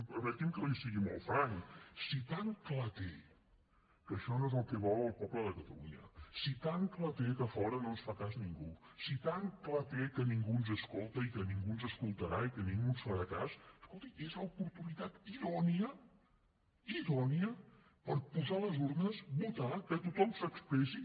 permeti’m que li sigui molt franc si tan clar té que això no és el que vol el poble de catalunya si tan clar té que a fora no ens fa cas ningú si tan clar té que ningú ens escolta i que ningú ens escoltarà i que ningú ens farà cas escolti és l’oportunitat idònia idònia per posar les urnes votar que tothom s’expressi